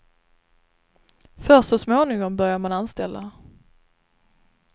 Först så småningom börjar man anställa.